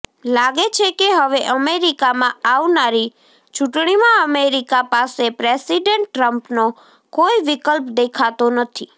લાગે છે કે હવે અમેરિકામાં આવનારી ચૂંટણીમાં અમેરિકા પાસે પ્રેસિડેન્ટ ટ્રમ્પનો કોઈ વિકલ્પ દેખાતો નથી